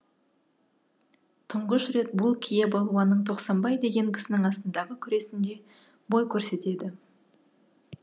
тұңғыш рет бұл кие балуанның тоқсанбай деген кісінің асындағы күресінде бой көрсетеді